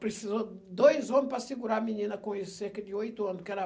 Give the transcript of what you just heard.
Precisou de dois homem para segurar a menina com isso, cerca de oito anos. Porque era